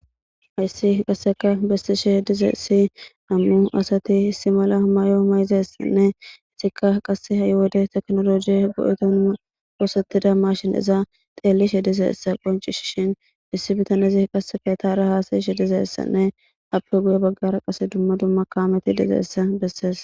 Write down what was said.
Hasi qasekka bessishe dizayissi nam"u asat issi mala Mayo mayadiyssanne etikka qase ha'i wode technology othetida mashineza xelashshe dizayissa qoncisishin issi bitanezi qase izetara hasayishshe dizayissanne ape guye baggara qase dumma dumma kammet dizayissa besses